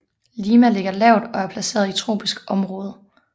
Lima ligger lavt og er placeret i tropisk område